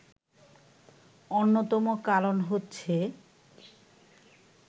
অন্যতম কারণ হচ্ছে